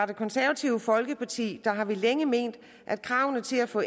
det konservative folkeparti har vi længe ment at kravene til at få